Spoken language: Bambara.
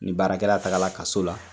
Ni baarakɛla takala kaso la,